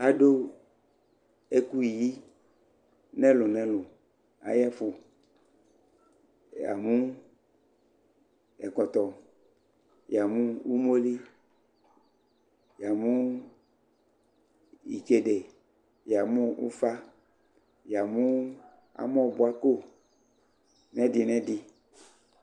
adʋ ɛkʋyi nɛlʋ nɛlʋ ayɛƒʋ, yamʋ ɛkɔtɔ, yamʋ ʋmɔli, yamʋ itsɛdi, yamʋ ʋƒa, yamʋ amɔ bʋa kɔ nʋ ɛdi nɛ ɛdi